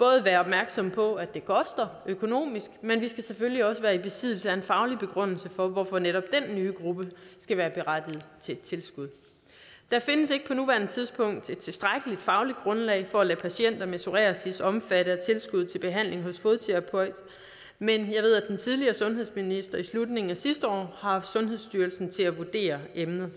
være opmærksomme på at det koster økonomisk men vi skal selvfølgelig også være i besiddelse af en faglig begrundelse for hvorfor netop den nye gruppe skal være berettiget til tilskud der findes ikke på nuværende tidspunkt et tilstrækkeligt fagligt grundlag for at lade patienter med psoriasis være omfattet af tilskud til behandling hos fodterapeut men jeg ved at den tidligere sundhedsminister i slutningen af sidste år har haft sundhedsstyrelsen til at vurdere emnet